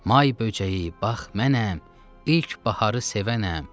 May böcəyi, bax mənəm, ilk baharı sevənəm.